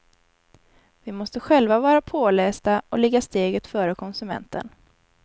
Vi måste själva vara pålästa och ligga steget före konsumenten.